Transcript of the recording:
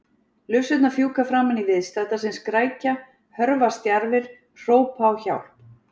Lufsurnar fjúka framan í viðstadda sem skrækja, hörfa stjarfir, hrópa á hjálp.